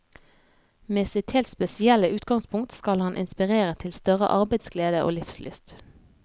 Med sitt helt spesielle utgangspunkt skal han inspirere til større arbeidsglede og livslyst.